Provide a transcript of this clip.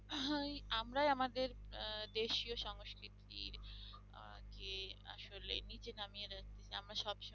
আহ আমরাই আমাদের আহ দেশীয় সংস্কৃতির আহ যে আসলে নিচে নামিয়ে যাচ্ছি আমরা সবসময়